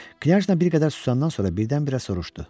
Knyajna bir qədər susandan sonra birdən-birə soruşdu: